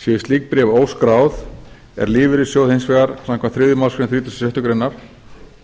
séu slík bréf óskráð er lífeyrissjóði hins vegar samkvæmt þriðju málsgrein þrítugustu og sjöttu grein